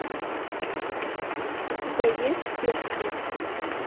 у тебя есть пирсинг